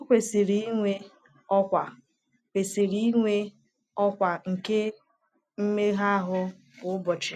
“Ọ kwesịrị inwe ọkwa kwesịrị inwe ọkwa nke mmega ahụ kwa ụbọchị.”